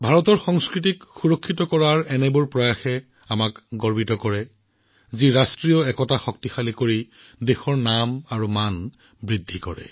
ভাৰতে নিজৰ সংস্কৃতিক ৰক্ষা কৰা এনে প্ৰতিটো প্ৰচেষ্টাক লৈ গৌৰৱ অনুভৱ কৰে যিয়ে আমাৰ জাতীয় ঐক্যক শক্তিশালী কৰাই নহয় দেশৰ নাম দেশৰ সন্মান সকলো বৃদ্ধি কৰে